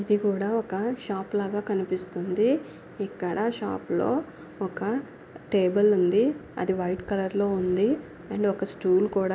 ఇది కూడా ఒక షాప్ లాగా కనిపిస్తా ఉంది ఇక్కడ షాపులో ఒక టేబుల్ ఉంది వైట్ కలర్లో ఉంది అండ్ ఒక స్టూల్ కూడా--